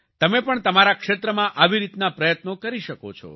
તમે પણ તમારા ક્ષેત્રમાં આવી રીતના પ્રયત્નો કરી શકો છો